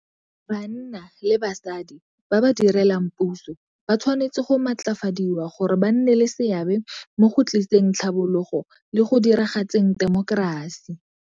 Banna le basadi ba ba direlang puso ba tshwanetse go matlafadiwa gore ba nne le seabe mo go tliseng tlhabologo le go diragatseng temokerasi.